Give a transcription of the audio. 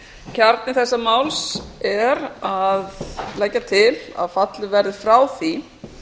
kjarni þessa máls er að leggja til að fallið verði frá því